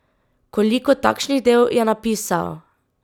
Koliko takšnih del je napisal?